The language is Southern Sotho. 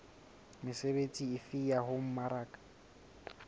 mesebetsi efe ya ho mmaraka